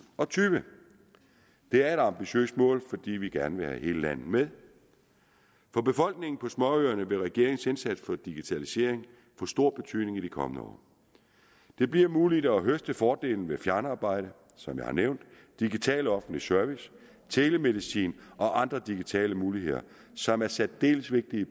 og tyve det er et ambitiøst mål fordi vi gerne vil have hele landet med for befolkningen på småøerne vil regeringens indsats for digitalisering få stor betydning i de kommende år det bliver muligt at høste fordelene ved fjernarbejde som jeg har nævnt digital offentlig service telemedicin og andre digitale muligheder som er særdeles vigtige